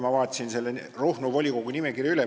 Ma vaatasin Ruhnu volikogu nimekirja üle.